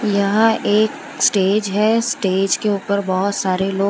यहाँ एक स्टेज है स्टेज के ऊपर बहोत सारे लो--